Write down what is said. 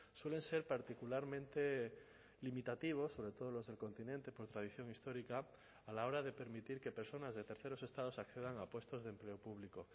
suelen ser particularmente limitativos sobre todo los del continente por tradición histórica a la hora de permitir que personas de terceros estados accedan a puestos de empleo público